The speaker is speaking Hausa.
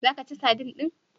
Za ka ci sadin din?